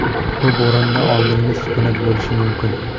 Bu bo‘rondan oldingi sukunat bo‘lishi mumkin.